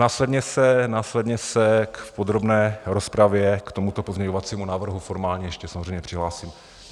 Následně se v podrobné rozpravě k tomuto pozměňovacímu návrhu formálně ještě samozřejmě přihlásím.